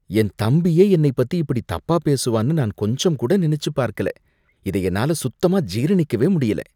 என் தம்பியே என்னைப் பத்தி இப்படி தப்பாப் பேசுவான்னு நான் கொஞ்சம் கூட நினைச்சுப் பார்க்கல. இதை என்னால சுத்தமா ஜீரணிக்கவே முடியல.